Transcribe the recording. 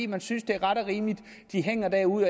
man synes det er ret og rimeligt at de hænger derude